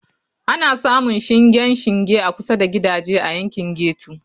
Ana samun shingen shinge a kusa da gidaje a yankin ghetto.